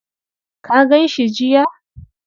Ka gan shi jiya?